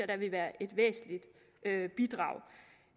det ville være et væsentligt bidrag